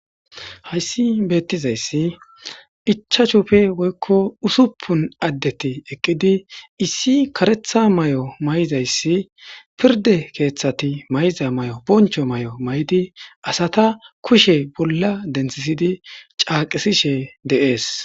Haysi betizaysi ichashupe woyko usupun adeti eqidi issi karetha mayo mayizaysi pirde kethati ma'iza mayo boncho mayo mayidi asata kushe bola dentisidi c'aqisishe des.